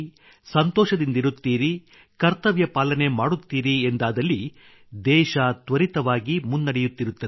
ಸಂತೋಷದಿಂದಿರುತ್ತೀರಿ ಕರ್ತವ್ಯಪಾಲನೆ ಮಾಡುತ್ತೀರಿ ಎಂದಾದಲ್ಲಿ ದೇಶ ತ್ವರಿತವಾಗಿ ಮುನ್ನಡೆಯುತ್ತಿರುತ್ತದೆ